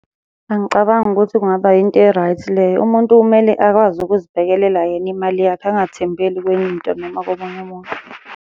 Angicabangi ukuthi kungaba yinto e-right leyo, umuntu kumele akwazi ukuzibhekelela yena imali yakhe, angathembeli kwenye into noma komunye umuntu.